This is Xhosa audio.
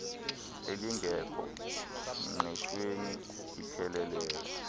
elingekho ngqeshweni ipheleleyo